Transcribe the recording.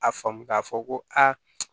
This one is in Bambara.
A faamu k'a fɔ ko a